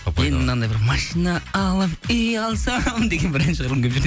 мынандай бір машиан алып үй алсам деген бір ән шығарғым келіп жүр